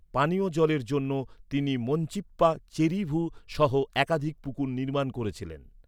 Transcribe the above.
পানীয় জলের জন্য তিনি মঞ্চিপ্পা চেরুভু সহ একাধিক পুকুর নির্মাণ করেছিলেন।